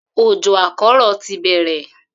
Òjò àkó̩rò̩ ti bè̩rè